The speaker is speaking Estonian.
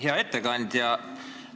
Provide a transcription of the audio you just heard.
Hea ettekandja!